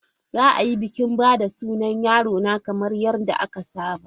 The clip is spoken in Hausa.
Za a yi bikin ba da sunan yarona kamar yadda aka saba.